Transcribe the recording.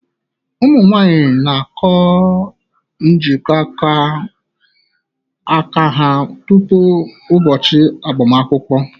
Ụmụ nwanyị na-akụ mgbanaka njikọ aka ha tupu ụbọchị agbamakwụkwọ.